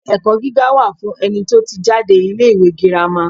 Ilé-ẹ̀kọ́ gíga wà fún ẹni tó ti jáde ilé-ìwé girama.